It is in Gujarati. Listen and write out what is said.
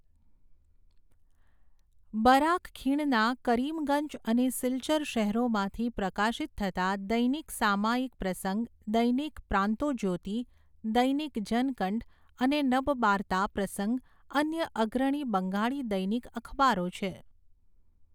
બરાક ખીણના કરીમગંજ અને સિલ્ચર શહેરોમાંથી પ્રકાશિત થતાં દૈનિક સામયિક પ્રસંગ, દૈનિક પ્રાંતોજ્યોતિ, દૈનિક જનકંઠ અને નબબાર્તા પ્રસંગ અન્ય અગ્રણી બંગાળી દૈનિક અખબારો છે.